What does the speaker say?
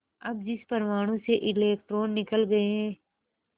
अब जिस परमाणु से इलेक्ट्रॉन निकल गए